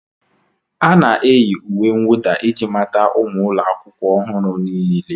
A na-eyi uwe mwụda iji mata ụmụ akwụkwọ ọhụrụ niile.